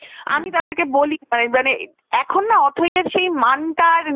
আমি তাদেরকে বলি, মানে এখন না অথৈ সে মানটার নেই,